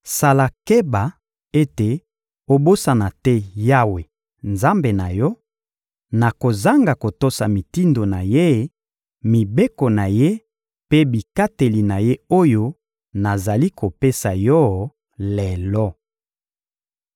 Sala keba ete obosana te Yawe, Nzambe na yo, na kozanga kotosa mitindo na Ye, mibeko na Ye mpe bikateli na Ye oyo nazali kopesa yo lelo.